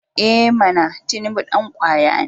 I mana! Tinubu dan kwaya ne.